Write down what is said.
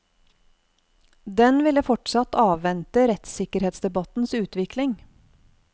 Den ville fortsatt avvente rettssikkerhetsdebattens utvikling.